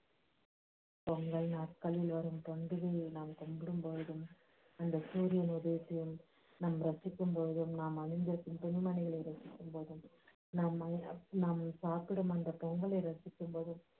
பொங்கல் நாட்களில் வரும் பண்டிகையை நாம் கும்பிடும்பொழுதும் அந்த சூரியனை நாம் இரட்சிக்கும்போதும் நாம் அணிந்திருக்கும் துணி மணிகளை இரட்சிக்கும்போதும் நாம் நாம் சாப்பிடும் அந்த பொங்கலை இரட்சிக்கும்போதும்